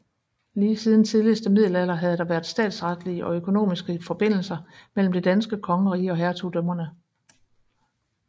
Lige siden tidligste middelalder havde der været statsretslige og økonomiske forbindelser mellem det danske kongerige og hertugdømmerne